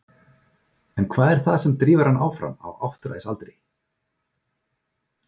En hvað er það sem drífur hann áfram á áttræðisaldri?